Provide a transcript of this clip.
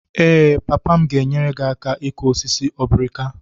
Ee, papa m ga-enyere gị aka ịkụ osisi obrika.